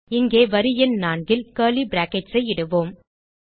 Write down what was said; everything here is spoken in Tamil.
இங்கே வரி எண் 4 ல் கர்லி பிராக்கெட்ஸ் ஐ இடுவோம்